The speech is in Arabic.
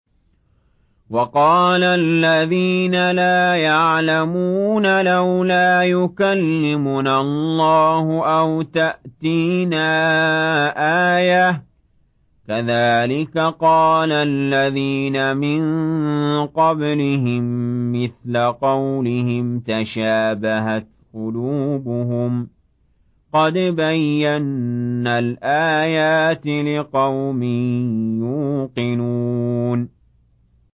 وَقَالَ الَّذِينَ لَا يَعْلَمُونَ لَوْلَا يُكَلِّمُنَا اللَّهُ أَوْ تَأْتِينَا آيَةٌ ۗ كَذَٰلِكَ قَالَ الَّذِينَ مِن قَبْلِهِم مِّثْلَ قَوْلِهِمْ ۘ تَشَابَهَتْ قُلُوبُهُمْ ۗ قَدْ بَيَّنَّا الْآيَاتِ لِقَوْمٍ يُوقِنُونَ